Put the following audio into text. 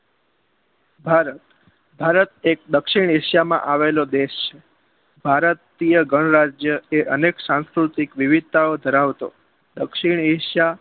ભારત ભારત એક દક્ષિણ એશિયા માં આવેલો દેશ છે ભારત ગણ રાજ્ય અનેક સાસ્કૃતિ અને વિવિધતાઓ ધરાવતો દક્ષિણ એશિયા